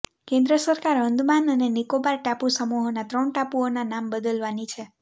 કેન્દ્ર સરકાર અંદમાન અને નિકોબાર ટાપુસમૂહોના ત્રણ ટાપુઓના નામ બદલવાની છે